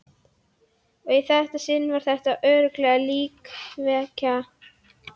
Og í þetta sinn var þetta örugglega íkveikja.